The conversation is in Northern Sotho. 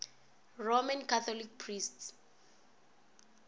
roman catholic priests